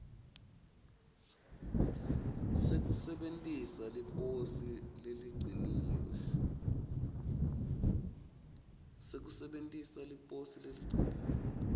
sekusebentisa liposi leligciniwe